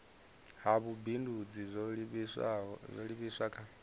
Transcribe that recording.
ha vhubindudzi zwo livhiswa kha